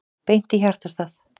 Beint í hjartastað